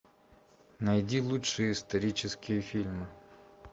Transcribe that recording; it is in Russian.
найди лучшие исторические фильмы